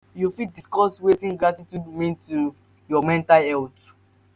you fit discuss wetin gratitude mean to your mental health?